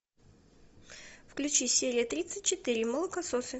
включи серия тридцать четыре молокососы